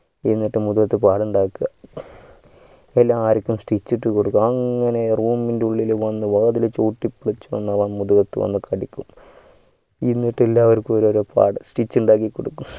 എന്നിട്ട് മുഖത്തു പാടു ഉണ്ടാകുക എല്ലാവർക്കും stitch ഇട്ടുകൊടുക അങ്ങനെ room ഇൻ്റെ ഉള്ളിൽ വന്നു വാതില് ചവുട്ടി പൊളിച്ചു വന്നു ദേഹത്തു കടിക്കും എന്നിട് എല്ലാവർക്കും ഓരൊരു പാട് stitch ഉണ്ടാക്കിക്കൊടുക്കും